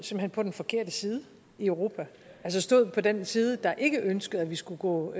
på den forkerte side i europa altså stod på den side der ikke ønskede at vi skulle gå